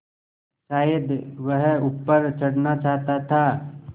शायद वह ऊपर चढ़ना चाहता था